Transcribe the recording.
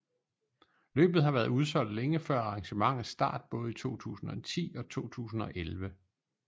Løbet har været udsolgt længe før arrangementets start både i 2010 og 2011